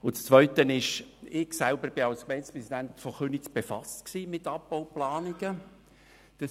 Zweitens war ich als Gemeindepräsident von Köniz mit Abbauplanungen befasst.